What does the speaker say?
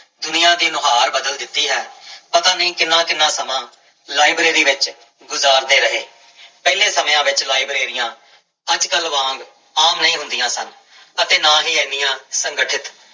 ਦੁਨੀਆਂ ਦੀ ਨੁਹਾਰ ਬਦਲ ਦਿੱਤੀ ਹੈ ਪਤਾ ਨੀ ਕਿੰਨਾ ਕਿੰਨਾ ਲਾਇਬ੍ਰੇਰੀ ਵਿੱਚ ਗੁਜ਼ਾਰਦੇ ਰਹੇ ਪਹਿਲੇ ਸਮਿਆਂ ਵਿੱਚ ਲਾਇਬ੍ਰੇਰੀਆਂ ਅੱਜ ਕੱਲ੍ਹ ਵਾਂਗ ਆਮ ਨਹੀਂ ਹੁੰਦੀਆਂ ਸਨ ਅਤੇ ਨਾ ਹੀ ਇੰਨੀਆਂ ਸੰਗਠਿਤ,